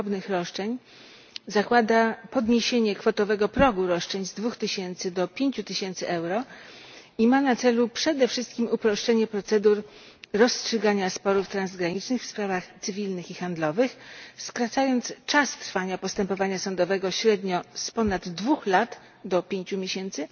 drobnych roszczeń zakłada podniesienie kwotowego progu roszczeń z 2000 do 5000 euro i ma na celu przede wszystkim uproszczenie procedur rozstrzygania sporów transgranicznych w sprawach cywilnych i handlowych, skracając czas trwania postępowania sądowego średnio z ponad 2 lat do 5 miesięcy